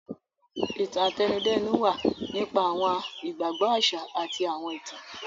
Ìtàn-àtẹnudẹ́nu wa nípa awọn igbagbọ aṣa ati awọn itan.